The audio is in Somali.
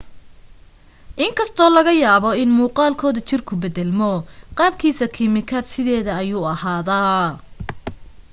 in kastoo laga yaabo in muuqaalkood jirku beddelmo qaabkiisa kiimikaad sideeda ayuu ahaadaa